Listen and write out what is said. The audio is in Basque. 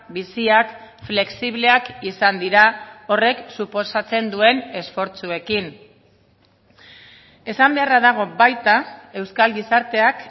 biziak flexibleak izan dira horrek suposatzen duen esfortzuekin esan beharra dago baita euskal gizarteak